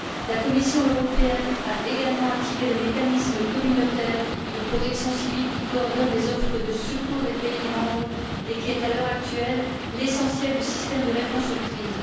La Commission européenne a également activé le mécanisme communautaire de protection civile, qui coordonne les offres de secours des pays membres et qui constitue à l'heure actuelle l'essentiel du système de réponse aux crises.